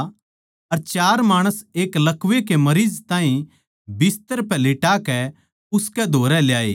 अर चार माणस एक लकवै कै मरीज ताहीं बिस्तर पै लिटाकै उसकै धोरै ल्याए